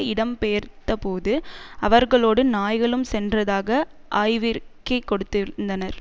இடம் பெயர்ந்தபோது அவர்களோடு நாய்களும் சென்றதாக ஆய்வறிக்கை கொடுத்திருந்தனர்